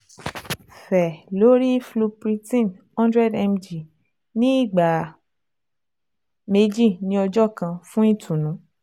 Fẹ lori Flupirtine hundred mg ni igba meji ni ọjọ kan fun itunu